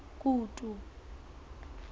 kutu